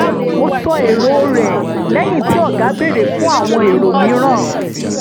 ó sọ èrò rẹ̀ lẹ́yìn tí ọ̀gá béèrè fún àwọn èrò mìíràn